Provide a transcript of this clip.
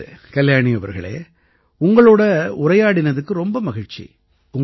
நல்லது கல்யாணி அவர்களே உங்களோட உரையாடினதுக்கு ரொம்ப மகிழ்ச்சி